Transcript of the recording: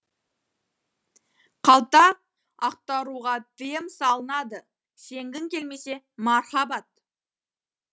қалта ақтаруға тиым салынады сенгің келмесе мархабат